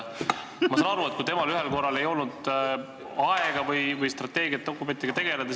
Ma saan aru, et temal ühel korral ei olnud aega strateegiadokumentidega tegeleda.